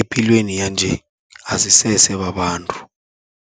epilweni yanje asisese babantu.